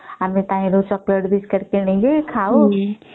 ଆମେ ତାହାରୁ chocolate biscuit କିଣିକି ଖାଉ